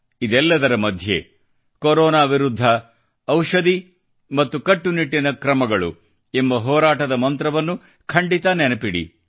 ಇದೆಲ್ಲದರ ಮಧ್ಯೆ ಕೊರೊನಾ ವಿರುದ್ಧ ಔಷದಿ ಮತ್ರುಕಟ್ಟುನಿಟ್ಟಿನ ಕ್ರಮಗಳು ಎಂಬ ಹೋರಾಟದ ಮಂತ್ರವನ್ನು ಖಂಡಿತ ನೆನಪಿಡಿ